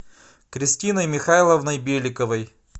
кристиной михайловной беликовой